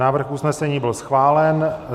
Návrh usnesení byl schválen.